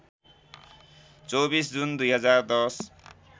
२४ June २०१०